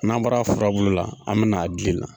N'an bɔra furabulu la, an bɛna a den na.